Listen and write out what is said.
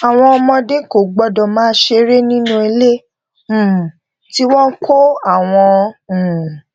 àwọn ọmọdé kò gbódò máa ṣeré nínú ilé um tí wón kó àwọn um